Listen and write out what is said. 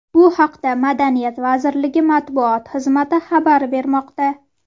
Bu haqda Madaniyat vazirligi matbuot xizmati xabar bermoqda .